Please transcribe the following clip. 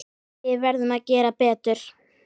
Við verðum að gera betur.